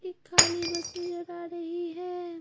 इक की खाली बस नजर आ रही है।